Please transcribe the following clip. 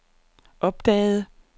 opdagede